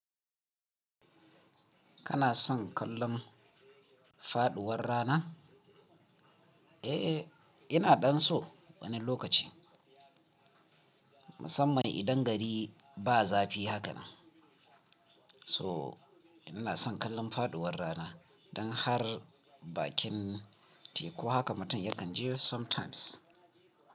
Kana son kallon faduwar rana? Eh, ina ɗan so wani lokaci. Musammani idan gari ba zafi haka na. So ina son kallon faduwar rana don har bakin teku haka mutum yakan je sometimes.